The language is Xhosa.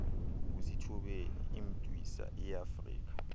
ngusithubeni imntwisa iafrika